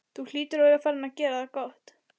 Þú hlýtur að vera farinn að gera það gott!